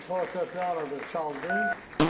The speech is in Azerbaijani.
O fortepianonu da çaldı.